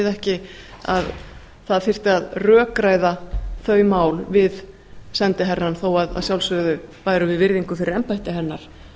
ekki að það þyrfti að rökræða þau mál við sendiherrann þó að sjálfsögðu bærum við virðingu fyrir embætti hennar